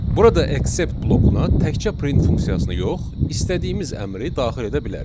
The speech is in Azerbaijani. Burada accept blokuna təkcə print funksiyasını yox, istədiyimiz əmri daxil edə bilərik.